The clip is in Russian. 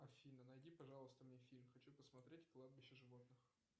афина найди пожалуйста мне фильм хочу посмотреть кладбище животных